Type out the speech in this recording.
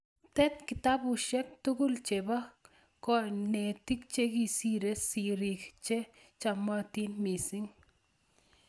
Tet kitabushek tugul che ba konegit chikisire sirik che chamatin mising'